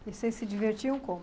Vocês se divertiam como?